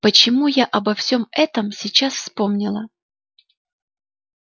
почему я обо всем этом сейчас вспомнила